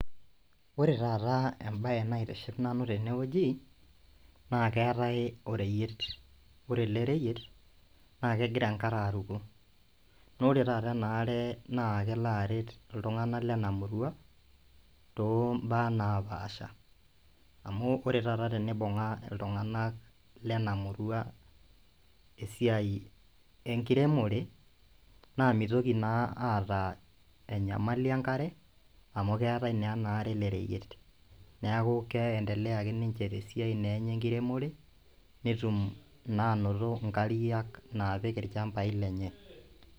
Ore taata embaye naitiship nanu tenewueji naa keetae oreyiet ore ele reyiet naa kegira enkare aruko nore taata ena are naa kelo aret iltung'anak lenamurua tombaa napaasha amu ore taata tenibung'a iltung'anak lena murua esiai enkiremore naa mitoki naa aata enyamali enkare amu keetae naa ena are ele reyiet neeku kei endelea ake ninche tesiai naa enye enkiremore netum naa anoto inkariak naapik irchambai lenye.